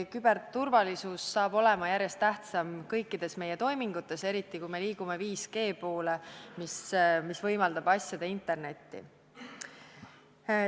Küberturvalisus saab olema järjest tähtsam kõikides meie toimingutes, eriti siis, kui me liigume 5G poole, mis võimaldab asjade internetti.